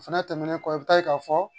O fɛnɛ tɛmɛnen kɔ i bi taa ye k'a fɔ